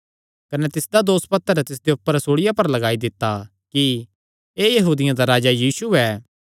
कने तिसदा दोसपत्र तिसदे ऊपर सूल़िया पर लगाई दित्ता कि एह़ यहूदियां दा राजा यीशु ऐ